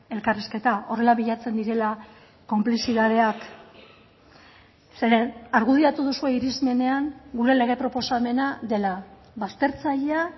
elkarrizketa horrela bilatzen direla konplizitateak zeren argudiatu duzue irismenean gure lege proposamena dela baztertzailea